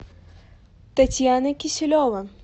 татьяна киселева